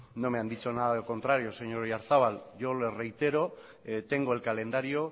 no me han dicho nada al contrario señor oyarzabal yo le reitero que tengo el calendario